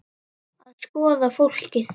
Að skoða fólkið.